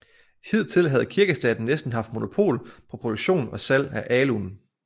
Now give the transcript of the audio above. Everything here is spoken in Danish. Hidtil havde Kirkestaten næsten haft monopol på produktion og salg af alun